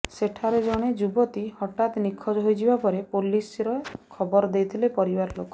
ସେଠାରେ ଜଣେ ଯୁବତୀ ହଠାତ ନିଖୋଜ ହୋଇଯିବା ପରେ ପୋଲିସରେ ଖବର ଦେଇଥିଲେ ପରିବାର ଲୋକେ